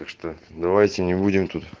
так что давайте не будем тут